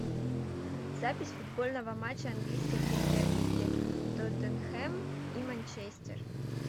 запись футбольного матча английской премьер лиги тоттенхэм и манчестер